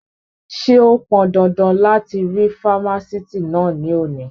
Ṣé ó pọndandan láti rí fámásìtì náà ní òní?